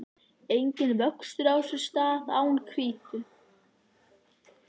Enginn vöxtur á sér stað án hvítu.